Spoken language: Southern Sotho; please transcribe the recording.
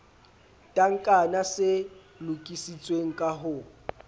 tankana se lokisitsweng ka ho